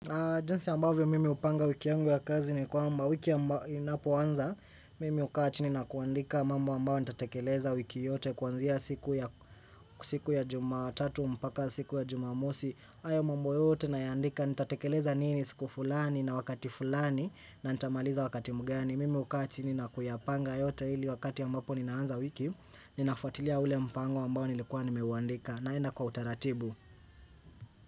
Jinsi ambavyo mimi hupanga wiki yangu ya kazi ni kwamba wiki inapoanza mimi hukaa chini na kuandika mambo ambao nitatekeleza wiki yote kuanzia siku ya siku ya jumatatu mpaka siku ya jumamosi ayo mambo yote nayaandika nitatekeleza nini siku fulani na wakati fulani na nitamaliza wakati mgani mimi hukaa chini na kuyapanga yote ili wakati ambapo ninaanza wiki ninafatilia ule mpango ambao nilikuwa nimeuandika naenda kwa utaratibu.